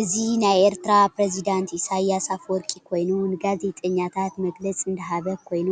እዚ ናይ ኤርትራ ፕሪዝዳንት ኢሳያስ አፈወርቂ ኮይኑ ንጋዜጠኛታት መግለፅ እናሃብ ኮይኑ